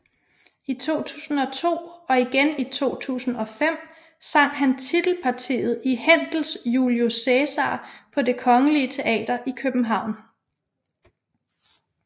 I 2002 og igen i 2005 sang han titelpartiet i Händels Julius Cæsar på Det Kongelige Teater i København